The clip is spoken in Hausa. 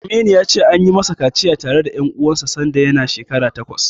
Aminu ya ce, an yi masa kaciya tare da ƴan uwansa sanda yana shekara takwas.